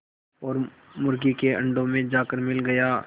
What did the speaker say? और मुर्गी के अंडों में जाकर मिल गया